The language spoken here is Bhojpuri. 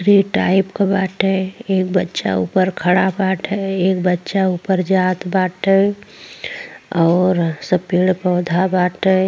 क बाटे। एक बच्चा ऊपर खड़ा बाटे। एक बच्चा ऊपर जात बाटे और सब पड़े पौड़ बाटे।